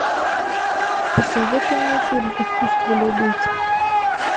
посоветуй мне фильм искусство любить